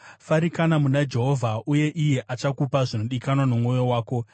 Farikana muna Jehovha, uye iye achakupa zvinodikanwa nomwoyo wako.